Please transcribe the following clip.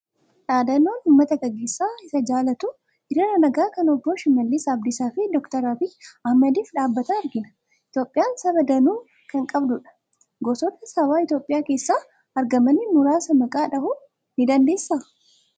Dhaadannoo uummata gaggeessaa isaa jaallatu, hiriira nagaa kan obbo Shimallis Abdiisaa fi Dookter Abiyyi Ahmediif dhaabatan argina. Itoophiyaan saba danuu kan qabdudha. Gosoota saba Itoophiyaa keessatti argamanii muraasa maqaa dhahuu ni dandeessaa?